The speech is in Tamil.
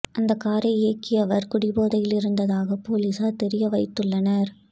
அந்தக் காரை இயக்கியவர் குடி போதையில் இருந்ததாக போலீசார் தெரிவித்துள்ளனர்